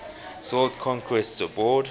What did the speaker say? sought conquests abroad